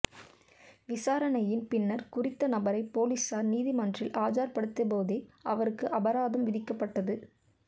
விசாரணையின் பின்னர் குறித்த நபரை பொலிஸார் நீதி மன்றில் ஆஜர்படுத்திபோதே அவருக்கு அபராதம் விதிக்கப்பட்டது